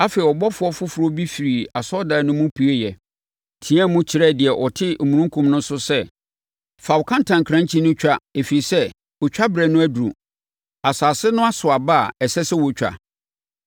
Afei, ɔbɔfoɔ foforɔ bi firii asɔredan no mu pueeɛ, teaam kyerɛɛ deɛ ɔte omununkum no so no sɛ, “Fa wo kantankrankyi no twa ɛfiri sɛ otwaberɛ no aduru, asase no aso aba a ɛsɛ sɛ wɔtwa!”